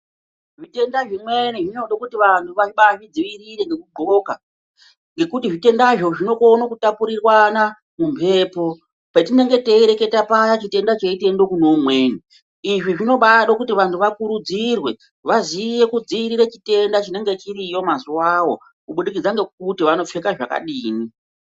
Zvitenda svimweni zvinode kuti vantu vabaazvidzivirire ngekudxoka ngekuti zvitendazvo zvinokone kutapurirwana mumhepo patinonge teireketa paya chitenda cheiteende kune umweni izvi zvinobaade kuti vantu vakurudzirwe vaziye kudzivirire chitenda chinenga chiriyo mazuwawo